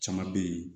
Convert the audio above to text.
Caman bɛ yen